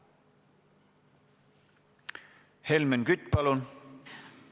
Helmen Kütt, palun!